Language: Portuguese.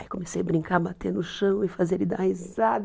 Aí comecei a brincar, bater no chão e fazer ele dar risada.